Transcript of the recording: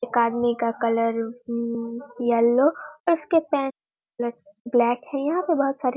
एक आदमी का कलर अम येलो और उसके पेंट कलर ब्लैक है यहाँ पे बहुत सारे --